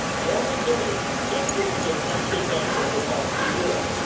Only they can put the country back on the path to Europe.